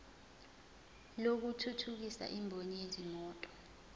lokuthuthukisa imboni yezimoto